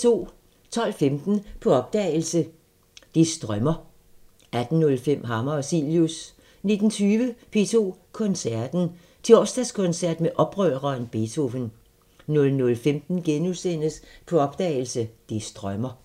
12:15: På opdagelse – Det strømmer 18:05: Hammer og Cilius 19:20: P2 Koncerten – Torsdagskoncert med oprøreren Beethoven 00:15: På opdagelse – Det strømmer *